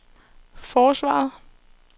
forsvaret